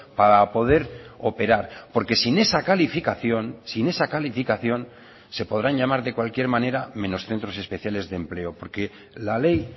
para poder operar porque sin esa calificación sin esa calificación se podrán llamar de cualquier manera menos centros especiales de empleo porque la ley